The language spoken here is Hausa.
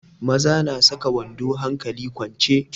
Maza na saka wando hankali kwance.